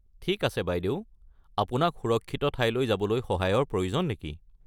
ঠিক আছে বাইদেউ, আপোনাক সুৰক্ষিত ঠাইলৈ যাবলৈ সহায়ৰ প্ৰয়োজন নেকি?